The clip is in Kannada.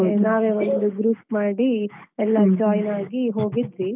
ನಾವೆ ಒಂದು group ಮಾಡಿ. ಎಲ್ಲ join ಆಗಿ ಹೋಗಿದ್ವಿ.